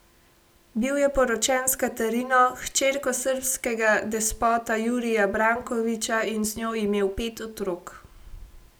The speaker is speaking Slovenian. Bil je poročen s Katarino, hčerko srbskega despota Jurija Brankovića, in z njo imel pet otrok.